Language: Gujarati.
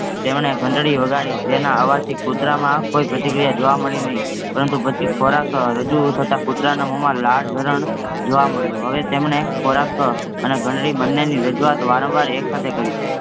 તેમણે ઘંટળી વગાડી જેના અવાજ થી કૂટરમાં કોઈ પ્રતિક્રિયા જોવા મળી નહિ પરંતુ, પછી ખોરખ અ રજૂ થતાં કૂતરાના મોહમાં લાળ ઝરણ જોવા મળ્યું, હવે તેમણે, ખોરખ અને ઘંટળી બન્નેની રજવાત વારંવાર એકસાથે કરી